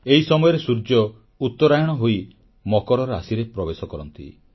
ଏହି ସମୟରେ ସୂର୍ଯ୍ୟ ଉତ୍ତରାୟଣ ହୋଇ ମକର ରାଶିରେ ପ୍ରବେଶ କରନ୍ତି